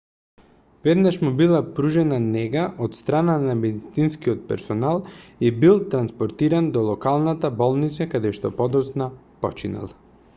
веднаш му била пружена нега од страна на медицинскиот персонал и бил транспортиран до локалната болница каде што подоцна починал